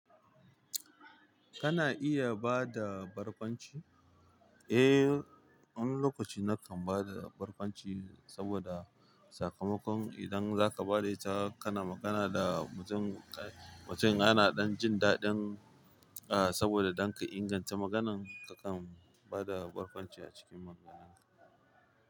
Kana iya bada barkwanci? Eh, wani lokaci na kan bada barkwanci saboda sakamakon idan zaka ba da ita kana magana da mutum, mutum ana jin daɗin, ah, saboda dan ka inganta maganan ka, kan bada barkwanci a cikin magananka.